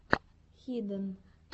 хиден